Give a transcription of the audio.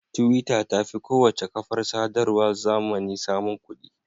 Twitter ta fi kowace kafar sadarwar zamani samun kuɗi.